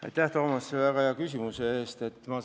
Aitäh, Toomas, selle väga hea küsimuse eest!